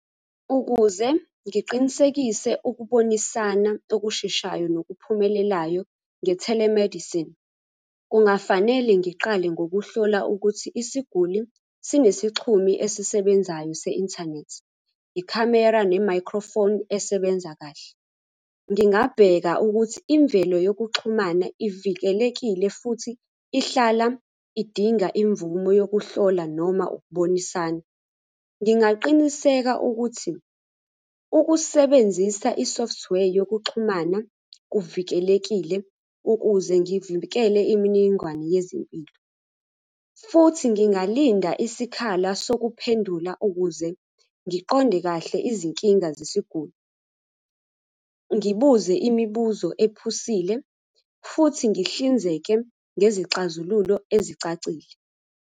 Ukuze ngiqinisekise ukubonisana okusheshayo nokuphumelelayo nge-telemedicine. Kungafanele ngiqale ngokuhlola ukuthi isiguli sinesixhumi esisebenzayo se-inthanethi, ikhamera nemakhrofoni esebenza kahle. Ngingabheka ukuthi imvelo yokuxhumana ivikelekile futhi ihlala idinga imvumo yokuhlola noma ukubonisana. Ngingaqiniseka ukuthi ukusebenzisa i-software yokuxhumana kuvikelekile ukuze ngivikele imininingwane yezempilo, futhi ngingalinda isikhala sokuphendula ukuze ngiqonde kahle izinkinga zesiguli. Ngibuze imibuzo ephusile, futhi ngihlinzeke ngezixazululo ezicacile.